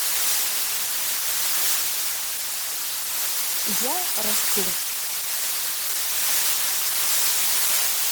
я расту